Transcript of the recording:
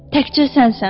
Təkcə sənsən.